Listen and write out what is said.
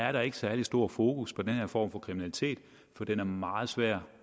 er der ikke særlig stor fokus på den her form for kriminalitet for den er meget svær